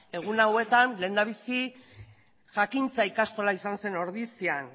egun hauetan lehendabizi jakintza ikastola izan zen ordizian